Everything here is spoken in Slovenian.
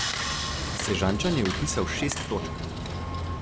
Sežančan je vpisal šest točk.